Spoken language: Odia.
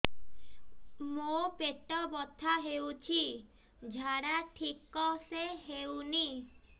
ମୋ ପେଟ ବଥା ହୋଉଛି ଝାଡା ଠିକ ସେ ହେଉନି